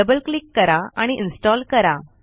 double click करा आणि install करा